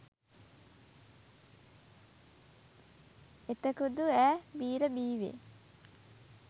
එතකුදු ඈ බීර බීවේ